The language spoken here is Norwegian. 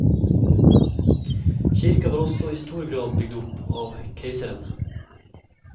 Kirka var også i stor grad bygd opp av keiseren.